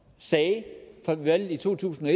sagde ved valget i to tusind